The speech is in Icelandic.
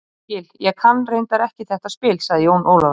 Ég skil, ég kann reyndar ekki þetta spil, sagði Jón Ólafur.